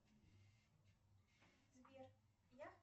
сбер я